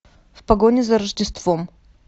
в погоне за рождеством